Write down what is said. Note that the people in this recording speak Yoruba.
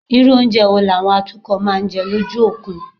Irú oúnjẹ wo làwọn atukọ̀ máa ń jẹ lójú òkun?